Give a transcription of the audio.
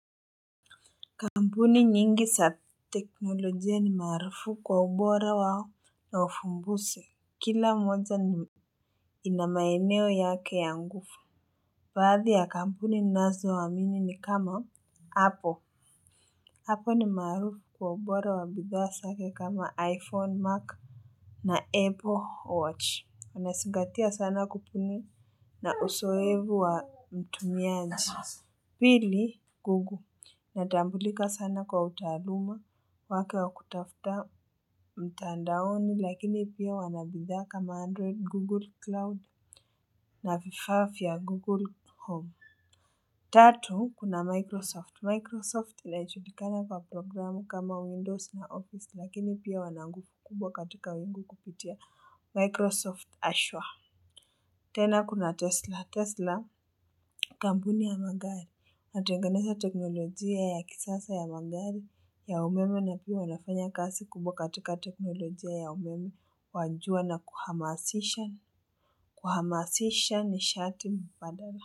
Kampuni nyingi za teknolojia ni maarufu kwa ubora wao na uvumbuzi. Kila moja ni, ina maeneo yake ya nguvu. Baadhi ya kampuni ninazo amini ni kama. Apple. Apple ni maarufu kwa ubora wa bidhaa zake kama iPhone, Mac na Apple Watch. Inazingatia sana kubuni na uzoefu wa mtumiaji. Pili, Google. Inatambulika sana kwa utaaluma wake wa kutafuta mtandaoni lakini pia wana bidhaa kama Android, Google Cloud na vifaa vya Google Home. Tatu, kuna Microsoft. Microsoft inajulikana kwa programu kama Windows na Office lakini pia wana nguvu kubwa katika wingu kupitia Microsoft Ashwa. Tena kuna Tesla. Tesla kampuni ya magari inatengenezaa teknolojia ya kisasa ya magari ya umeme na pia wanafanya kazi kubwa katika teknolojia ya umeme wa jua na kuhamasisha, kuhamasisha nishati mbadala.